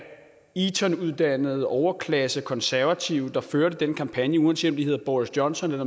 etonuddannede overklassekonservative der førte den kampagne uanset om de hedder boris johnson eller